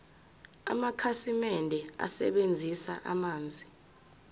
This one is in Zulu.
amakhasimende asebenzisa amanzi